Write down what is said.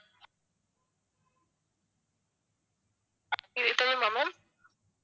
இது போதுமா ma'am